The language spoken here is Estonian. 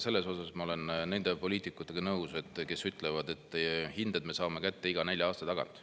Selles osas ma olen nõus nende poliitikutega, kes ütlevad, et hinded me saame kätte iga nelja aasta tagant.